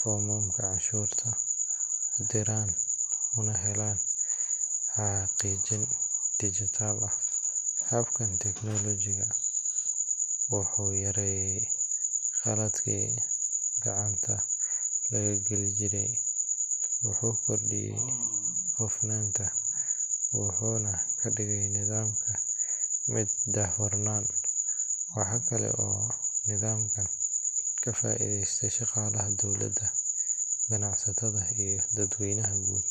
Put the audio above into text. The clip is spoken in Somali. foomamka canshuurta, u diraan, una helaan xaqiijin dijitaal ah. Habkan tiknoolajiga ah wuxuu yareeyay khaladaadkii gacanta laga geli jiray, wuxuu kordhiyay hufnaanta, wuxuuna ka dhigay nidaamka mid daahfuran. Waxaa kale oo nidaamkan ka faa’iidaysta shaqaalaha dowladda, ganacsatada iyo dadweynaha guud.